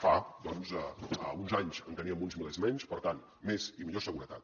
fa doncs uns anys en teníem uns milers menys per tant més i millor seguretat